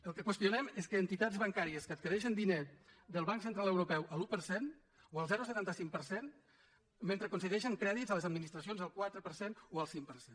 el que qüestionem és que entitats bancàries adquireixen diners del banc central europeu a l’un per cent o al zero coma setanta cinc per cent mentre concedeixen crèdits a les administracions al quatre per cent o al cinc per cent